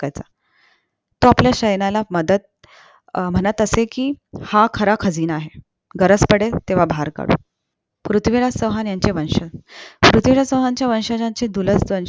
टाकायचा तो आपल्या सैन्याला म्हणत अं म्हणत असे कि हा खरा खजिना आहे गरज पडेल तेव्हा बाहेर काढू पृथ्वीराज चौहानांचे वंशजचे पृथ्वीराज चौहान वंशजांचे